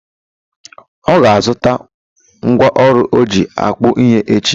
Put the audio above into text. Ọ ga azuta nkwọ ọrụ ọjị akpa ihe echi?